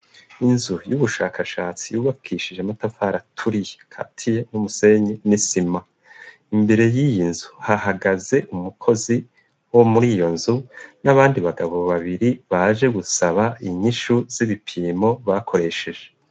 Inzu y'ubushakashatsi yubakishije amatafari aturiye akatiye n'umusenyi n'isima. Imbere y'iyi nzu hahagaze umukozi wo muri iyo nzu n'abandi bagabo babiri baje gusaba inyishu z'ibipimo bakoresheje.